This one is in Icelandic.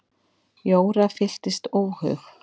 Jóra fylltist óhug.